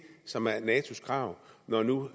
som er natos krav når nu